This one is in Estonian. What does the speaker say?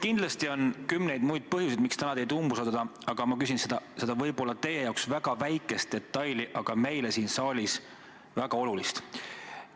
Kindlasti on kümneid muid põhjuseid, miks täna teid umbusaldada, aga ma küsin võib-olla teie arvates väga väikese detaili, aga meile siin saalis väga olulise detaili kohta.